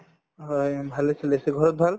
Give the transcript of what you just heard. হয়, ভালে চলি আছো ঘৰত ভাল